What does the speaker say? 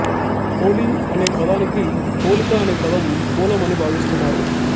హోళీ అనే పదానికి హోళిక అనే పదం మూలం అని భావిస్తున్నారు